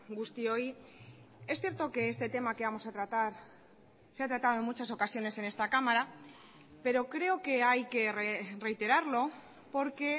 guztioi es cierto que este tema que vamos a tratar se ha tratado en muchas ocasiones en esta cámara pero creo que hay que reiterarlo porque